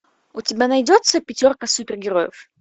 у тебя найдется пятерка супер героев